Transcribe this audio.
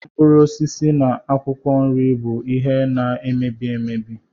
Mkpụrụ osisi na akwụkwọ nri bụ ihe na-emebi emebi.